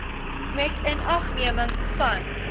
met inagneming van